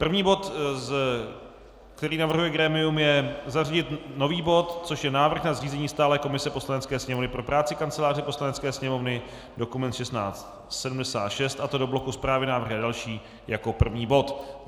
První bod, který navrhuje grémium, je zařadit nový bod, což je Návrh na zřízení stálé komise Poslanecké sněmovny pro práci Kanceláře Poslanecké sněmovny, dokument 1676, a to do bloku Zprávy, návrhy a další jako první bod.